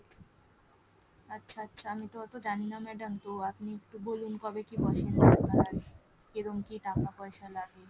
আচ্ছা আচ্ছা আমি তো অতো জানিনা madam, তো এমনি একটু বলুন কবে কি বসেন আপনার কি রকম কি টাকা পয়সা লাগবে ?